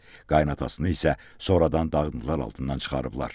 Qaynanasını isə sonradan dağıntılar altından çıxarıblar.